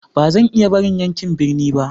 Ba zan iya barin yankin birni ba.